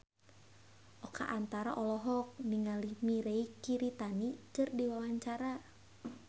Oka Antara olohok ningali Mirei Kiritani keur diwawancara